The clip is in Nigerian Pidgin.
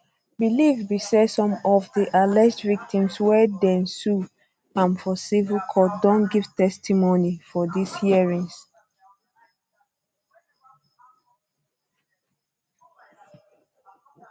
belief um be say some of di alleged victims wey dey um sue am for civil courts don give testimony for dis hearings